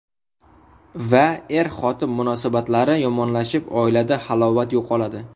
Va er-xotin munosabatlari yomonlashib oilada halovat yo‘qoladi.